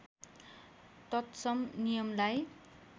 तत्सम नियमलाई